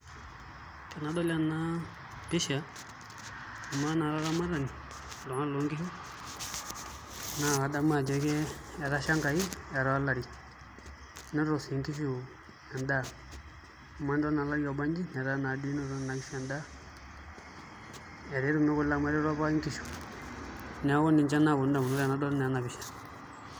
Tenidol enaa pishaa naa oloramatanii loonkishu naa kadamuu ajoo etashaa enkai etaa olarii netum sii nkishuu endaa tenidoll olarii obanjii nenotitoo nkishuu endaa netumii kule neekuu ninjee adamuu tenadoll enaa